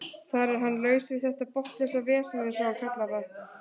Þar er hann laus við þetta botnlausa vesen eins og hann kallar það.